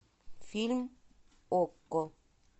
фильм окко